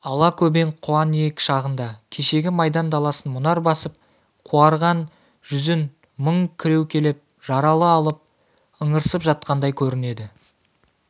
ала-көбең құланиек шағында кешегі майдан даласын мұнар басып қуарған жүзін мұң кіреукелеп жаралы алып ыңырсып жатқандай көрінеді